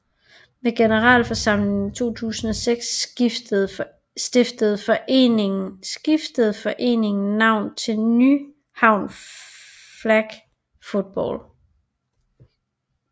Ved generalforsamlingen i 2006 skiftede foreningen navn til Nyhavn Flag Football